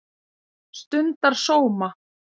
stundar sóma